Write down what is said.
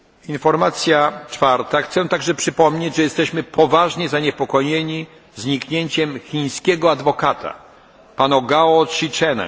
Informacja czwarta chciałbym także przypomnieć, że jesteśmy poważnie zaniepokojeni zniknięciem chińskiego adwokata pana Gao Zhishenga.